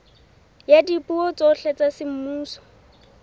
ya dipuo tsohle tsa semmuso